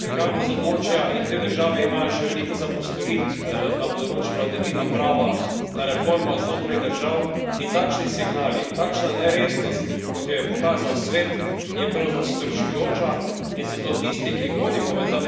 prihajamo iz območja in te države imajo še veliko za postoriti na področju vladavine prava, na reformah znotraj držav in takšni signali, takšna neresnost, kot jo je pokazal Svet, je prav zastrašujoča in zato tisti, ki hodimo v ta